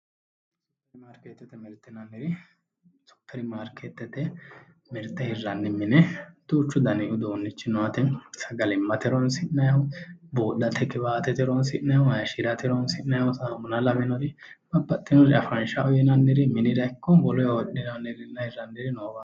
supirimaarikeetete mirte hiranni mine duuchu gariri heeranno yaate hakunno intannir anganniri hayishi'nanniri no yaate